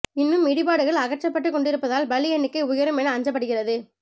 இன்னும் இடிபாடுகள் அகற்றப்பட்டு கொண்டிருப்பதால் பலி எண்ணிக்கை உயரும் என அஞ்சப்படுகிறது